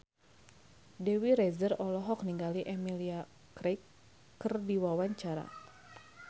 Dewi Rezer olohok ningali Emilia Clarke keur diwawancara